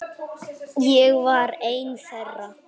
Ég var ein þeirra.